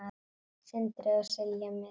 Sindri og Silja Mist.